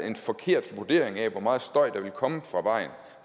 en forkert vurdering af hvor meget støj der ville komme fra vejen